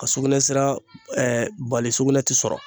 Ka sugunɛsira bali sugunɛ ti sɔrɔ